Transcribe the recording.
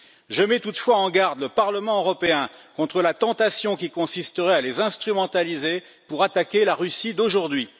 Je mets toutefois en garde le Parlement européen contre la tentation qui consisterait à les instrumentaliser pour attaquer la Russie d'aujourd'hui.